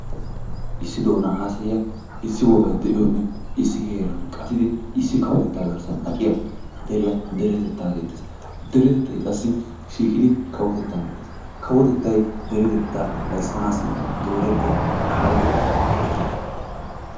Issi doona haasayiya issi wogay de'iyoonne issi heeran qattidi issi kawotettaa garssan aqqiya deriya deretettaa geetees, deretettay qassi shiiqidi kawotettaa geetees, kawotettay deretettaa ayssanaassi doorettiya kaaleto kifile.